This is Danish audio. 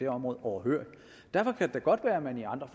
område overhørig derfor kan det da godt være at man i andre